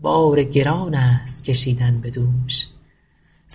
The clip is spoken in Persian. بار گران است کشیدن به دوش